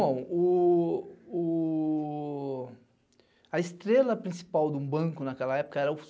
Bom, a estrela principal de um banco naquela época era o